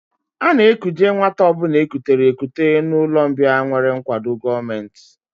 A na-ekuje nwata ọ bụla e kutere ekute n'ụlọmbịa nwere nkwado gọọmenti